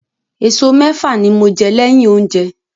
Eso mẹ́fà ni mo jẹ́ lẹ́yìn oúnjẹ.